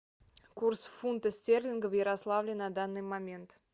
курс фунта стерлинга в ярославле на данный момент